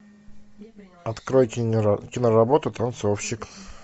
открой киноработу танцовщик